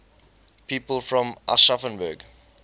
people from aschaffenburg